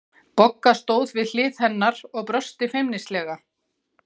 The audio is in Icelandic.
Bogga stóð við hlið hennar og brosti feimnislega.